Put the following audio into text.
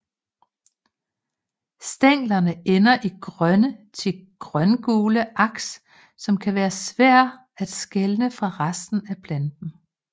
Stænglerne ender i grønne til grøngule aks som kan være svære at skelne fra resten af planten